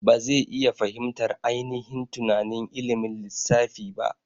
Ba zai iya fahimtar ainihin tunanin ilimin lissafi ba.